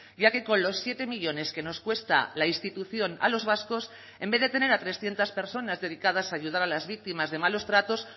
ya que con los siete millónes que nos cuesta la institución a los vascos en vez de tener a trescientos personas dedicadas a ayudar a las víctimas de malos tratos